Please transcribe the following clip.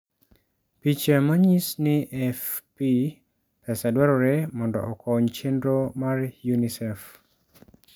Picha manyis ni AFP Pesa dwarore mondo okony chenro mar UNICEF.